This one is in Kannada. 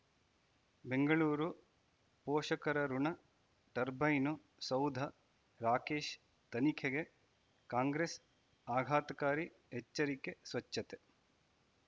ಬೆಂಗಳೂರು ಪೋಷಕರಋಣ ಟರ್ಬೈನು ಸೌಧ ರಾಕೇಶ್ ತನಿಖೆಗೆ ಕಾಂಗ್ರೆಸ್ ಆಘಾತಕಾರಿ ಎಚ್ಚರಿಕೆ ಸ್ವಚ್ಛತೆ